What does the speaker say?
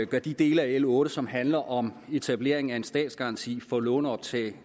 gør de dele af l otte som handler om etablering af en statsgaranti for lånoptag